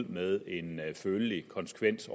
med en følelig konsekvens